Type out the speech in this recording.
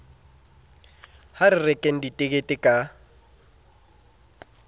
ha re rekeng ditekete ka